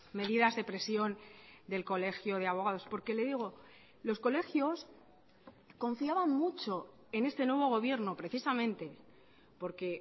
medidas de presión del colegio de abogados porque le digo los colegios confiaban mucho en este nuevo gobierno precisamente porque